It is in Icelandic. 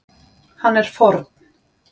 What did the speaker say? Hann er forn